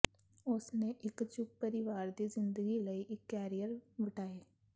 ਉਸ ਨੇ ਇੱਕ ਚੁੱਪ ਪਰਿਵਾਰ ਦੀ ਜ਼ਿੰਦਗੀ ਲਈ ਇੱਕ ਕੈਰੀਅਰ ਵਟਾਏ